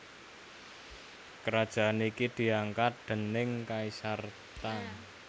Kerajaan iki diangkat déning Kaisar Tang